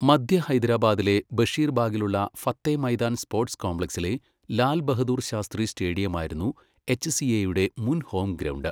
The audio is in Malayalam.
മദ്ധ്യ ഹൈദരാബാദിലെ ബഷീർബാഗിലുള്ള ഫത്തേ മൈദാൻ സ്പോർട്സ് കോംപ്ലക്സിലെ ലാൽ ബഹദൂർ ശാസ്ത്രി സ്റ്റേഡിയമായിരുന്നു എച്ച്സിഎയുടെ മുൻ ഹോം ഗ്രൗണ്ട്.